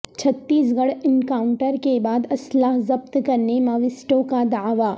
چھتیس گڑھ انکاونٹر کے بعد اسلحہ ضبط کرنے ماویسٹوں کا دعوی